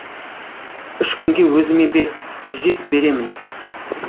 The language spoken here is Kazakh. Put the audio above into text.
үш күнге өзіме бер түзеп беремін